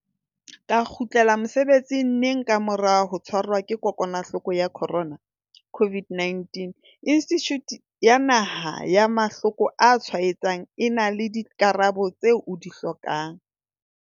ka kgutlela mosebetsing neng ka mora ho tshwarwa ke kokwanahloko ya corona, COVID-19, Institjhuti ya Naha ya Mahlo ko a Tshwaetsang e na le dikarabo tseo o di hlokang.